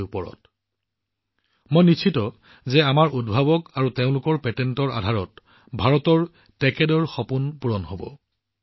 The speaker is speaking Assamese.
মই বিশ্বাস কৰোঁ যে ভাৰতৰ টেকাডেৰ সপোন নিশ্চিতভাৱে আমাৰ উদ্ভাৱক আৰু তেওঁলোকৰ পেটেন্টৰ বলত পূৰণ হব